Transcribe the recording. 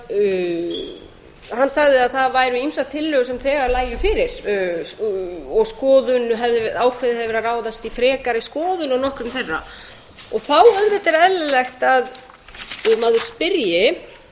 að hann sagði að ýmsar tillögur sem þegar lægju fyrir og ákveðið hefði verið að ráðast í frekari skoðun á nokkrum þeirra þá er eðlilegt að maður spyrji